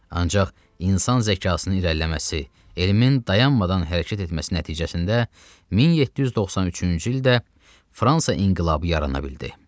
Ancaq insan zəkasının irəliləməsi, elmin dayanmadan hərəkət etməsi nəticəsində 1793-cü ildə Fransa inqilabı yarana bildi.